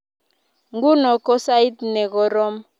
nguno ko sait nekoroom ochei ketebi eng kalyet